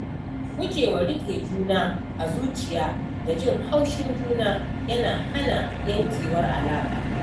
Gujewa riƙe juna a zuciya da jin haushin juna yana hana yankewar alaƙa